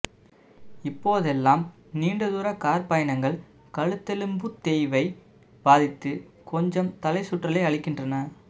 இப்போதெல்லாம் நீண்ட தூரக் கார்ப்பயணங்கள் கழுத்தெலும்புத்தேய்வை பாதித்து கொஞ்சம் தலைச்சுற்றலை அளிக்கின்றன